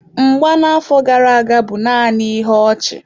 Mgba na-afọ gara aga bụ naanị ihe ọchị.